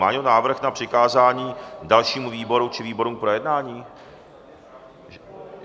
Má někdo návrh na přikázání dalšímu výboru či výborům k projednání?